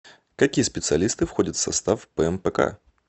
какие специалисты входят в состав пмпк